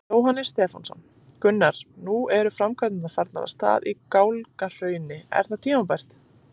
Jóhannes Stefánsson: Gunnar, nú eru framkvæmdirnar farnar af stað hérna í Gálgahrauni, er það tímabært?